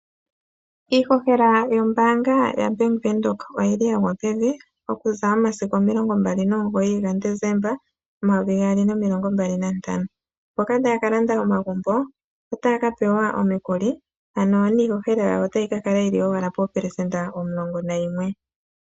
Iihohela yombaanga yaBank Windhoek oyili yagwa pevi okuza momasiku 29 Desemba 2025, mboka taya kalanda omagumbo otaya kapewa omukuli ano niiholela yawo otayi kakala 11%.